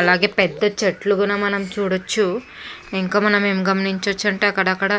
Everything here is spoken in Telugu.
అలాగే పెద్ద చెట్లు కూడా మనం చూడచ్చు. ఇంకా మనం ఏమి గమనించవచ్చు అంటే అక్కడక్కడా